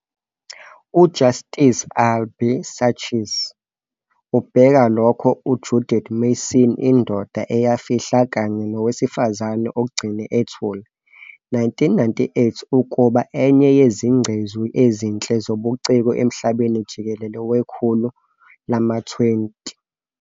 UJustice Albie Sachs ubheka lokho U-Judith Mason "Indoda Eyafihla kanye Nowesifazane Ogcine Ethule", 1998, ukuba "enye yezingcezu ezinhle zobuciko emhlabeni jikelele wekhulu lama-20"